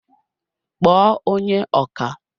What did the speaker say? kpọọ onye ọkà!